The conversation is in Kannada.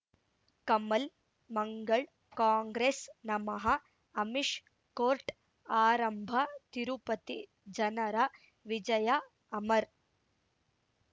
ಕಮಲ್ ಮಂಗಳ್ ಕಾಂಗ್ರೆಸ್ ನಮಃ ಅಮಿಷ್ ಕೋರ್ಟ್ ಆರಂಭ ತಿರುಪತಿ ಜನರ ವಿಜಯ ಅಮರ್